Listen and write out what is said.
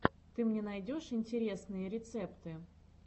ты мне найдешь интересные рецепты